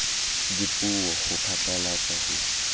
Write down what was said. dipuo ho phatlalatsa le ho